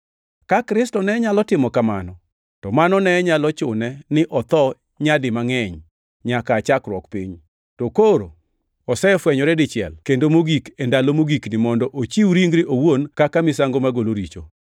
Ka Kristo ne nyalo timo kamano, to mano ne nyalo chune ni otho nyadi mangʼeny nyaka aa chakruok piny. To koro osefwenyore dichiel kendo mogik e ndalo mogikni mondo ochiw ringre owuon kaka misango magolo richo.